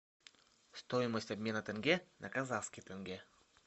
стоимость обмена тенге на казахский тенге